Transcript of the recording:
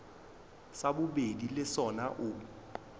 sa bobedi le sona o